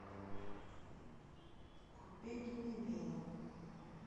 купить мивину